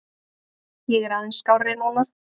Ég er aðeins skárri núna.